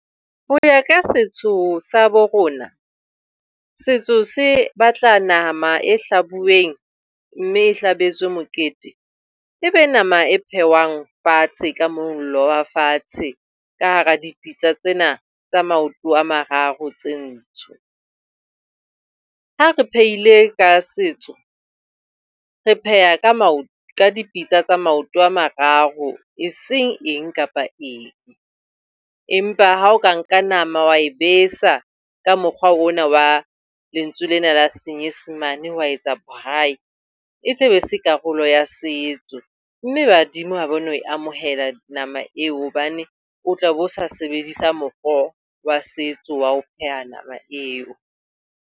Ho ya ka setso sa bo rona, setso se batla nama e hlabuweng, mme e hlabetswe mokete. E be nama e phehwang fatshe ka mollo wa fatshe. Ka hara dipitsa tsena tsa maoto a mararo tse ntsho. Ha re phehile ka setso, re pheha ka ka dipitsa tsa maoto a mararo, e seng eng kapa eng. Empa ha o ka nka nama, wa e besa ka mokgwa ona wa lentswe lena la Senyesemane wa etsa braai, e tle be e se karolo ya setso. Mme badimo ha ba no e amohela nama eo hobane o tla be o sa sebedisa mokgwa wa setso wa ho pheha nama eo.